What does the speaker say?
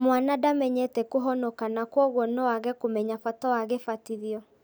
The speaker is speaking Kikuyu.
Mwana ndamenyete kũhonoka na kwoguo noage kũmenya bata wa gĩbatitho